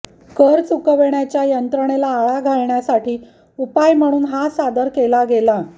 कर चुकवण्याच्या यंत्रणेला आळा घालण्यासाठी उपाय म्हणून हा सादर केला गेला